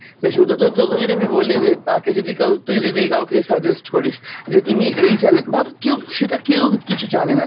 সে শুধু তো~ তোকে যদি আমি বলি যে তাকে যদি কেও, তুই যদি কাওকে suggest করিস যে তুমি এই channel, ভাব কেও সেটা কেও কিছু জানেনা